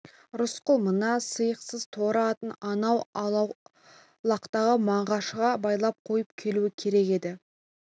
рысқұл мына сиықсыз торы атын анау аулақтағы мамағашқа байлап қойып келуі керек еді